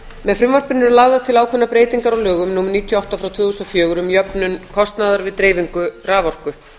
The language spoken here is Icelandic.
með frumvarpinu eru lagðar til ákveðnar breytingar á lögum númer níutíu og átta tvö þúsund og fjögur um jöfnun kostnaðar við dreifingu raforku